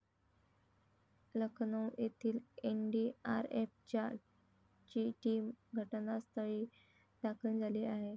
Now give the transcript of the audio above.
लखनऊ येथील एनडीआरएफच्या ची टीम घटनास्थळी दाखल झाली आहे.